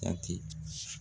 Dati